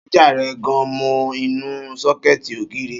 Ṣájà rẹ̀ gan mọ inú sọ́kẹ̀tì ògiri